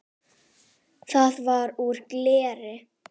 Það var úr gleri.